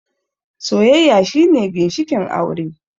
Soyayya shine ginshikin aure